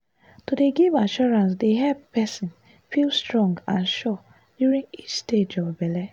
to dey give assurance dey help person feel strong and sure during each stage of belle.